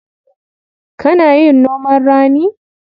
Kana yin noman rani?